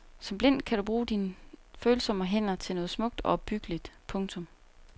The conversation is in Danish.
Som blind kan du bruge dine følsomme hænder til noget smukt og opbyggeligt. punktum